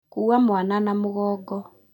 Kua mwana na mũgongo